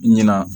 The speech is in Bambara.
Ɲinan